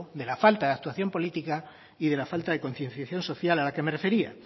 de la falta de actuación política y de la falta de concienciación social a la que me refería